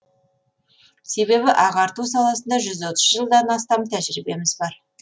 себебі ағарту саласында жүз отыз жылдан астам тәжірибеміз бар